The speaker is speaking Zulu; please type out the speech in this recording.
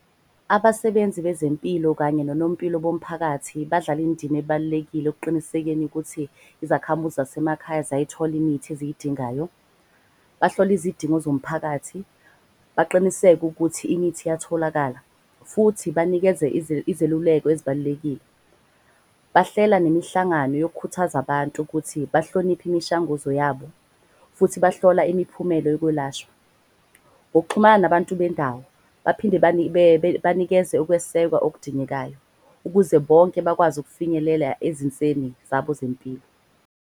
Abasebenzi bezempilo kanye nonompilo bomphakathi badlala indima ebalulekile okuqinisekeni ukuthi. Izakhamuzi zasemakhaya zayithola imithi eziyidingayo. Bahlole izidingo zomphakathi, baqiniseke ukuthi imithi iyatholakala. Futhi banikeze izeluleko ezibalulekile. Bahlela nemihlangano yokhuthaza abantu ukuthi bahloniphe imishanguzo yabo futhi bahlola imiphumela yokwelashwa. Ngokuxhumana nabantu bendawo baphinde banikeze ukwesekwa okudingekayo. Ukuze bonke bakwazi ukufinyelela ezinseni zabo zempilo.